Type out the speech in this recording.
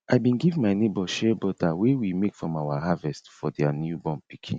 i bin give my neighbour shea butter wey we make from our harvest for their newborn pikin